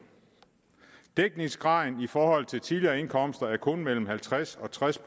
dækningsgraden i forhold til tidligere indkomster er kun mellem halvtreds og tres